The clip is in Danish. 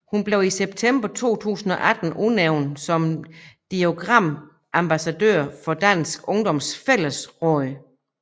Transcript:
Hun blev i september 2018 udnævnt som dialogambassadør for Dansk Ungdoms Fællesråd